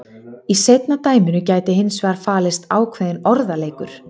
Í seinna dæminu gæti hins vegar falist ákveðinn orðaleikur.